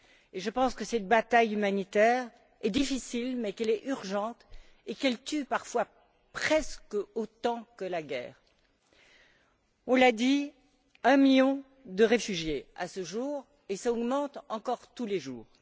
Et je pense que cette bataille humanitaire est difficile, mais qu'elle est urgente et qu'elle tue parfois presque autant que la guerre. On l'a dit, il y a un million de réfugiés à ce jour et ce chiffre augmente encore tous les jours.